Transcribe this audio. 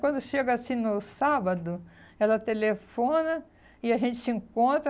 Quando chega assim no sábado, ela telefona e a gente se encontra.